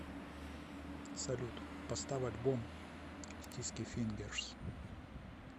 салют поставь альбом стиски фингерс